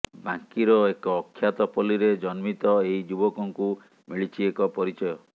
ବାଙ୍କୀର ଏକ ଅଖ୍ୟାତପଲ୍ଲୀରେ ଜନ୍ମିତ ଏହି ଯୁବକଙ୍କୁ ମିଳିଛି ଏକ ପରିଚୟ